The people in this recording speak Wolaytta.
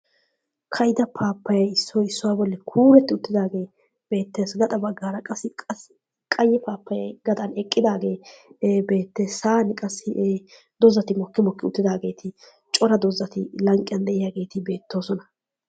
ka'idda paapayee issoy issuwa boli kuuretti uttaagee beetees. gaxxa bagaara qassi qaye paappayee eqqidaagee beetees. ee hegaadan dozzati mokki mokki uttidaagee ee cora dozzati lanqqiyan diyaageeti beetoosona.